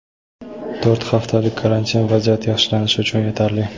to‘rt haftalik karantin vaziyat yaxshilanishi uchun yetarli.